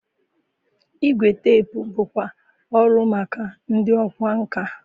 Igwe teepu bụkwa ọrụ maka ndị ọkwá nkà.